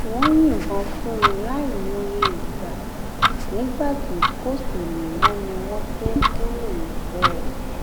wọn yìnbọn fún un láì mòye ìgbà nígbà tí kò sí mi mọ ni wọn tóó kúrò níbẹ